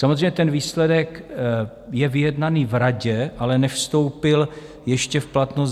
Samozřejmě ten výsledek je vyjednaný v Radě, ale nevstoupil ještě v platnost.